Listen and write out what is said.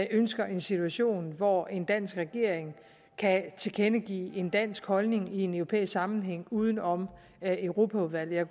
ønsker en situation hvor en dansk regering kan tilkendegive en dansk holdning i en europæisk sammenhæng uden om europaudvalget